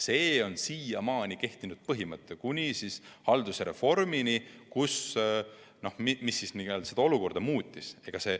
Selline oli siiamaani kehtinud põhimõte, kuni haldusreform seda olukorda muutis.